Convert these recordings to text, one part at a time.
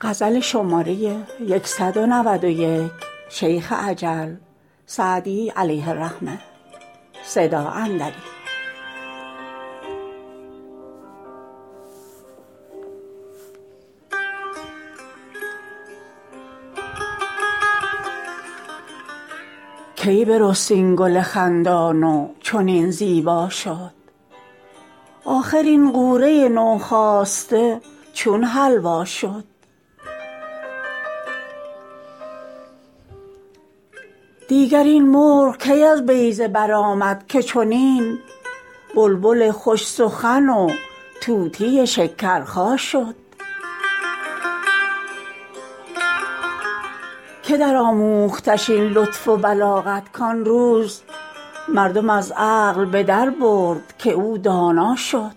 کی برست این گل خندان و چنین زیبا شد آخر این غوره نوخاسته چون حلوا شد دیگر این مرغ کی از بیضه برآمد که چنین بلبل خوش سخن و طوطی شکرخا شد که درآموختش این لطف و بلاغت کان روز مردم از عقل به دربرد که او دانا شد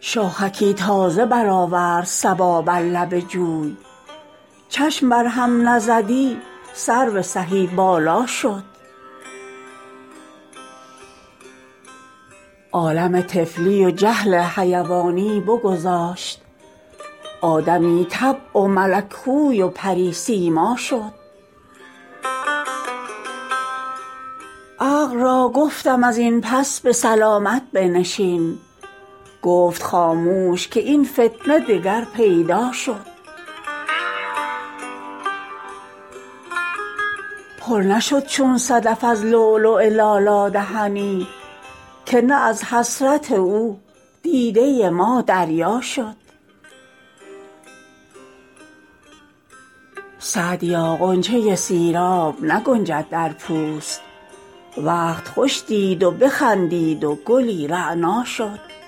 شاخکی تازه برآورد صبا بر لب جوی چشم بر هم نزدی سرو سهی بالا شد عالم طفلی و جهل حیوانی بگذاشت آدمی طبع و ملک خوی و پری سیما شد عقل را گفتم از این پس به سلامت بنشین گفت خاموش که این فتنه دگر پیدا شد پر نشد چون صدف از لؤلؤ لالا دهنی که نه از حسرت او دیده ما دریا شد سعدیا غنچه سیراب نگنجد در پوست وقت خوش دید و بخندید و گلی رعنا شد